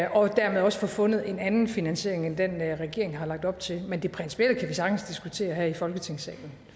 og dermed også få fundet en anden finansiering end den regeringen har lagt op til men det principielle kan vi sagtens diskutere her i folketingssalen